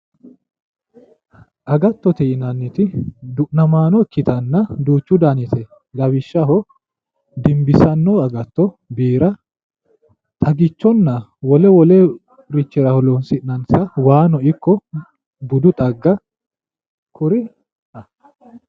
Agattote yinanniti du'namaano ikkitanna duuchu daniti no lawishshaho dimbissanno agatto biira xagichonna wole wolerichira horoonsi'nannita waano ikko budu xagga kuri